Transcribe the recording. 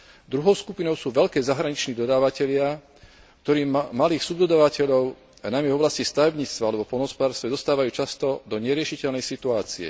Druhou skupinou sú veľkí zahraniční dodávatelia, ktorí malých subdodávateľov, najmä v oblasti stavebníctva alebo poľnohospodárstva, dostávajú často do neriešiteľnej situácie.